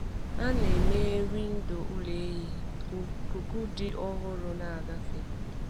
A na-emeghe windo ụlọ ehi ka ikuku dị ọhụrụ na-agafe.